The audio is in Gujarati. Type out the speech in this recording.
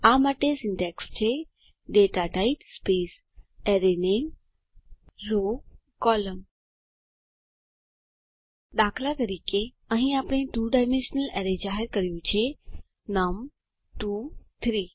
આ માટે સીન્ટેક્ષ છે data type arr namerow col દાતઅહીં આપણે 2 ડાયમેન્શનલ એરે જાહેર કર્યું છે નમ 2 3